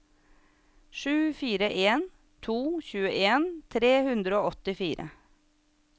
sju fire en to tjueen tre hundre og åttifire